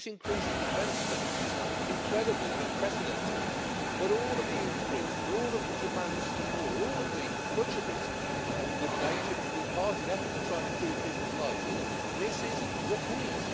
This increase in defence spending is incredible and unprecedented, but all of the increases, all of the demands for more much of it a good natured and good hearted effort to try and improve people's lives misses the point.